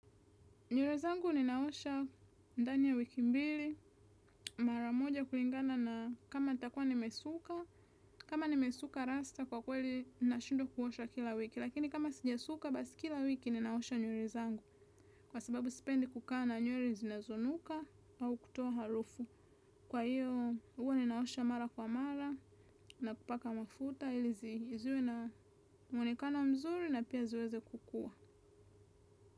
Nywere zangu ninaosha ndani ya wiki mbili, mara moja kulingana na kama nitakua nimesuka, kama nimesuka rasta kwa kweli nashindwa kuosha kila wiki. Lakini kama sijasuka basi kila wiki ninaosha nywele zangu kwa sababu sipendi kukana nywele zinazonuka au kutoa harufu. Kwa iyo hua ninaosha mara kwa mara na kupaka mafuta ilizi ziwe na mwonekano mzuri na pia ziweze kukua.